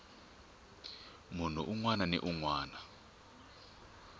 munhu un wana ni un